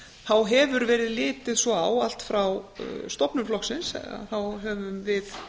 þá hefur verið litið svo á allt frá stofnun flokksins þá höfum við